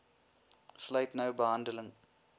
sluit nou behandeling